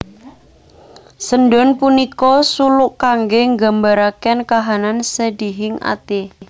Sendhon punika suluk kangge nggambaraken kahanan sedihing ati